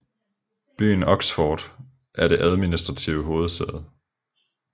Byen Oxford er det administrative hovedsæde